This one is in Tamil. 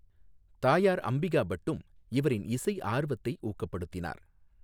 தாயார் அம்பிகா பட்டும் இவாின் இசை ஆா்வத்தை ஊக்கப்படுத்தினார்.